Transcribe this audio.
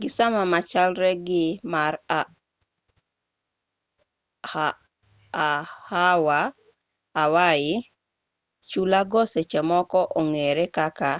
gi sama machalre gi mar hawaii chulago seche moko ong'ere kaka